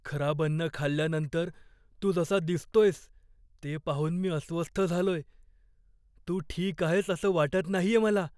खराब अन्न खाल्ल्यानंतर तू जसा दिसतोयस ते पाहून मी अस्वस्थ झालोय. तू ठीक आहेस असं वाटत नाहीये मला.